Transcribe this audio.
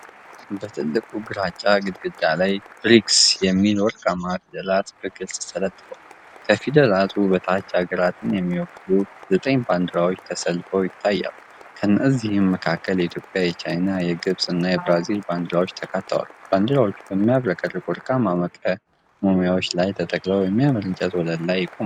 በትልቁ ግራጫ ግድግዳ ላይ “ብርክስ” የሚል ወርቃማ ፊደላት በግልጽ ተለጥፏል። ከፊደላቱ በታች አገራቱን የሚወክሉ ዘጠኝ ባንዲራዎች ተሰልፈው ይታያሉ። ከእነዚህም መካከል የኢትዮጵያ፣ የቻይና፣ የግብፅ እና የብራዚል ባንዲራዎች ተካተዋል። ባንዲራዎቹ በሚያብረቀርቅ ወርቃማ መቆሚያዎች ላይ ተተክለው በሚያምር እንጨት ወለል ላይ ይቆማሉ።